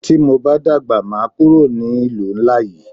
Tí mo bá dàgbà máa kúrò ní ìlú ńlá yí.